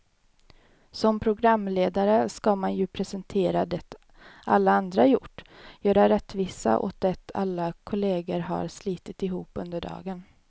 Som programledare ska man ju presentera det alla andra har gjort, göra rättvisa åt det alla kollegor har slitit ihop under dagen.